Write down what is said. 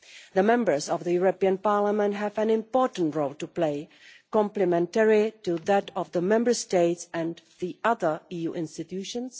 The Members of the European Parliament have an important role to play, complementary to that of the Member States and the other EU institutions.